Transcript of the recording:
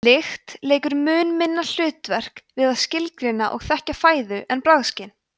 lykt leikur mun minna hlutverk við að skilgreina og þekkja fæðu en bragðskyn